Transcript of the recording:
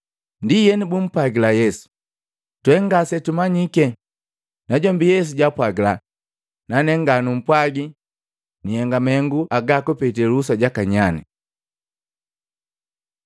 Ndienu, bumpwagila Yesu, “Twe ngasetumanyike.” Najombi Yesu jaapwagila, “Nanee nganumpwagi nihenga mahengu agaa kupetee luhusa jaka nyane.”